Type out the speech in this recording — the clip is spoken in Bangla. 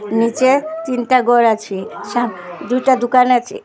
নীচে তিনটা ঘর আছে সামনে দুইটা দোকান আছে।